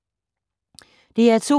DR2